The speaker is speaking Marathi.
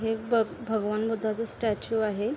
हे एक भगवान बुद्धा च स्टॅच्यू आहे.